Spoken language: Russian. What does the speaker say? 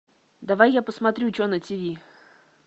давай я посмотрю че на тв